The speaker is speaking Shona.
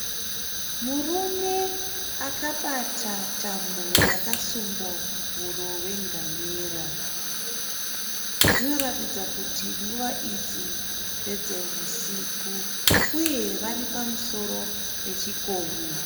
Murume akabata tambo yakasunga huro yengamera. Zvinoratidza kuti nguva idzi ndedzehusiku uye vari pamusoro pechikomo.